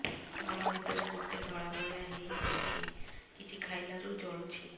ଗଳା ଭିତରେ ଗୋଟେ ଧଳା ଭଳିଆ ହେଇ ଯାଇଛି କିଛି ଖାଇଲାରୁ ଜଳୁଛି